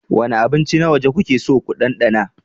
Wane abinci na waje kuke so ku ɗanɗana?